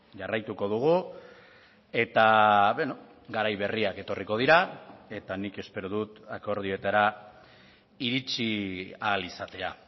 jarraituko dugu eta garai berriak etorriko dira eta nik espero dut akordioetara iritsi ahal izatea